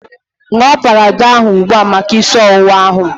Ṅụọ Panadọl a ugbua maka isi ọwụwa ahu